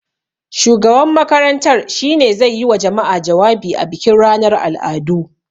Shugaban makarantar shi ne zai yi wa jama'a jawabi a bikin ranar al'adu.